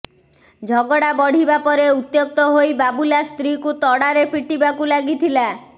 ଝଗଡ଼ା ବଢ଼ିବା ପରେ ଉତ୍ୟକ୍ତ ହୋଇ ବାବୁଲା ସ୍ତ୍ରୀକୁ ତଡ଼ାରେ ପଟିବାକୁ ଲାଗିଥିଲା